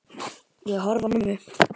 Ég horfi á mömmu.